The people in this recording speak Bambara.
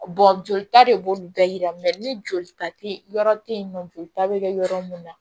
jolita de b'olu bɛɛ yira ni joli ta tɛ yɔrɔ tɛ ye nɔ joli ta bɛ kɛ yɔrɔ min na